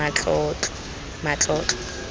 matlotlo